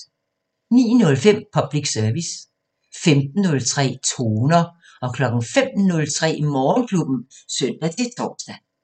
09:05: Public Service 15:03: Toner 05:03: Morgenklubben (søn-tor)